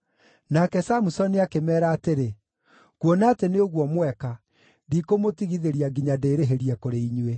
Nake Samusoni akĩmeera atĩrĩ, “Kuona atĩ nĩ ũguo mweka, ndikũmũtigithĩria nginya ndĩĩrĩhĩrie kũrĩ inyuĩ.”